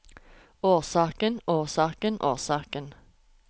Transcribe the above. årsaken årsaken årsaken